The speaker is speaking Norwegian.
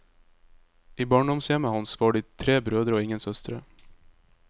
I barndomshjemmet hans var de tre brødre og ingen søstre.